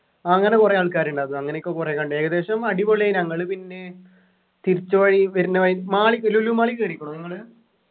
അങ്ങനെ കുറെ ആൾക്കാരുണ്ട് അത് അങ്ങനെയൊക്കെ കുറെ കണ്ടു ഏകദേശം അടിപൊളിയായി ഞങ്ങള് പിന്നെ തിരിച്ചു വഴി വരുന്ന വഴി mall ൽ ലുലു mall ൽ കേറീക്കുണൊ നിങ്ങള്